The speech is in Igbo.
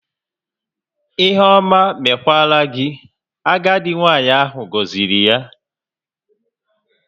"Ihe ọma mekwara gị", agadi nwanyị ahụ goziri ya